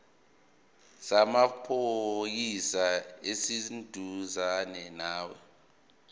samaphoyisa esiseduzane nawe